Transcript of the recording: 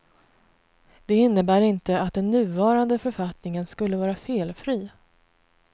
Det innebär inte att den nuvarande författningen skulle vara felfri.